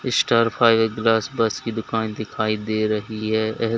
Star fibre glass works की दुकान दिखाई दे रही है।